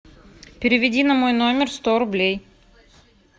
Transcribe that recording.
переведи на мой номер сто рублей